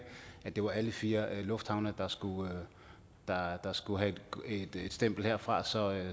har det var alle fire lufthavne der skulle der skulle have et stempel herfra så